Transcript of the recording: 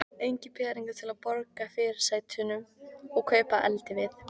Engir peningar til að borga fyrirsætunum og kaupa eldivið.